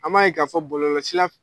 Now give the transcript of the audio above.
An b' ye ka fɔ bɔlɔlɔsira